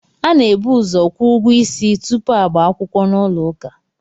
A na-ebuuzo kwuo ụgwọ isi tupu agbakwukwo n'ụlọ ụka